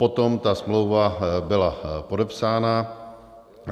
Potom ta smlouva byla podepsána.